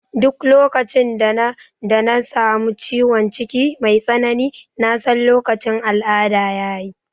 Duk lokacin da na samu ciwon ciki mai tsanani na san lokacin al'ada ya yi